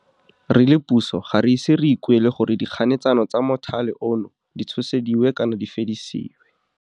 Re le puso ga re ise re ikuele gore dikganetsano tsa mothale ono di tshosediwe kana di fedisiwe.